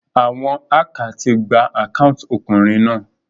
Àwon hacker ti gba account okùnrin náà